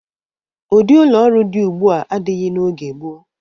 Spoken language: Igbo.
Ụdị ụlọ ọrụ dị ugbua adịghị n'oge gboo.